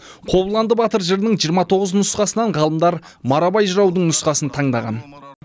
қобыланды батыр жырының жиырма тоғыз нұсқасынан ғалымдар марабай жыраудың нұсқасын таңдаған